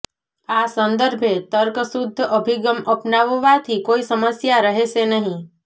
આ સંદર્ભે તર્ક શુધ્ધ્ અભિગમ અપનાવવાથી કોઈ સમસ્યા રહેશે નહીં